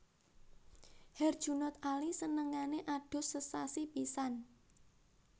Herjunot Ali senengane adus sesasi pisan